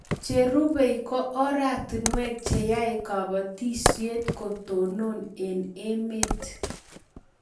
Che rubei ko oratinwek che yae kabatishet ko tonon eng' emet